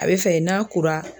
A bɛ fɛ n'a kora